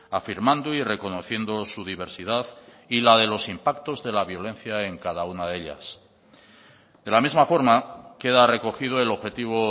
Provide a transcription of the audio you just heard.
afirmando y reconociendo su diversidad y la de los impactos de la violencia en cada una de ellas de la misma forma queda recogido el objetivo